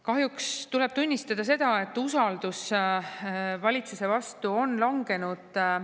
Kahjuks tuleb tunnistada seda, et usaldus valitsuse vastu on langenud.